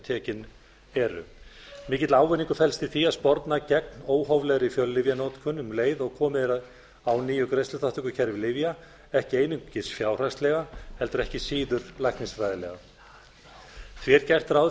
tekin eru mikill ávinningur felst í því að sporna gegn óhóflegri fjöllyfjanotkun um leið og komið er á nýju greiðsluþátttökukerfi lyfja ekki einungis fjárhagslega heldur ekkert síður læknisfræðilega því er gert ráð